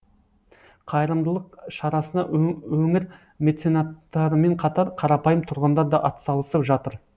қайырымдылық шарасына өңір меценаттарымен қатар қарапайым тұрғындар да атсалысып жатыр